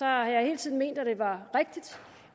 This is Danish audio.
har jeg hele tiden ment at det var rigtigt